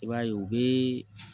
I b'a ye u bɛ